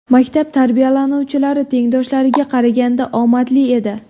Maktab tarbiyalanuvchilari tengdoshlariga qaraganda omadli edi.